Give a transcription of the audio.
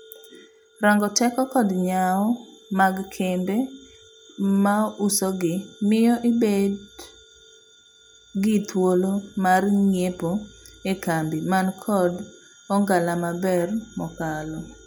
Rango teko kod nyawo mag kembve mausogi miyo ibed gi thuolo mar ng'iepo ekambi man kod ong'ala maber mokalo.